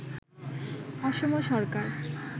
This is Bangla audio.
অসম সরকার